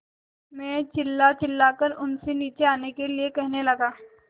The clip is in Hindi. मैं चिल्लाचिल्लाकर उनसे नीचे आने के लिए कहने लगा